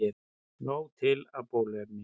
Nóg til af bóluefni